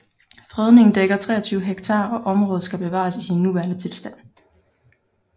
Fredningen dækker 23 hektar og området skal bevares i sin nuværende tilstand